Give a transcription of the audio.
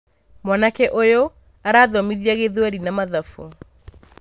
mwanake ũyũ arathomithia gĩthweri na mathabu.